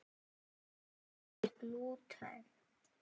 Hvað er glúten?